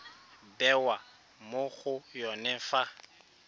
bewa mo go yone fa